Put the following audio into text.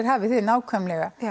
hafið þið nákvæmlega